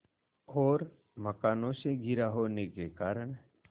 और मकानों से घिरा होने के कारण